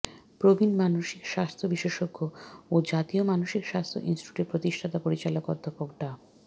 প্রবীণ মানসিক স্বাস্থ্য বিশেষজ্ঞ ও জাতীয় মানসিক স্বাস্থ্য ইনস্টিটিউটের প্রতিষ্ঠাতা পরিচালক অধ্যাপক ডা